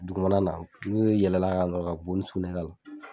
Dugumana na n'u yɛlɛla ka nɔrɔ ka bo ni sugunɛ la